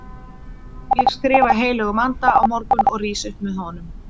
Ég skrifa heilögum anda á morgun og rís upp með honum.